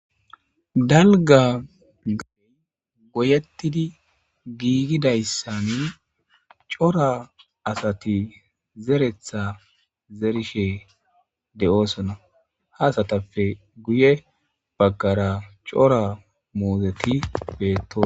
dalga gaey goyettidi giigidayssani cora asati zeretha zerishe de7oosona haasatappe guye baggara cora muozeti beetto